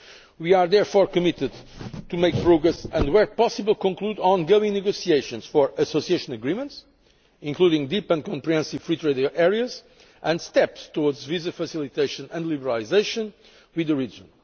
We are therefore committed to making progress and where possible to concluding ongoing negotiations for Association Agreements, including deep and comprehensive free trade areas and steps towards visa facilitation and liberalisation with the region.